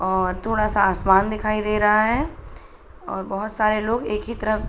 और थोड़ा सा आसमान दिखाई दे रहा है और बोहोत सारे लोग एक ही तरफ --